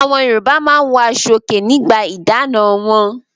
Awọn Yorùbá máa ń wọ aṣọòkè nígbà ìdáná wọn.